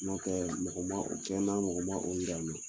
N'o tɛ mɔgɔ ma o kɛ na mɔgɔ ma o yira na.